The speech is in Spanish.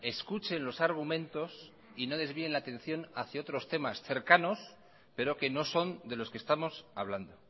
escuchen los argumentos y no desvíen la atención hacia otros temas cercanos pero que no son de los que estamos hablando